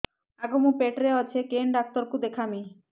ଆଗୋ ମୁଁ ପେଟରେ ଅଛେ କେନ୍ ଡାକ୍ତର କୁ ଦେଖାମି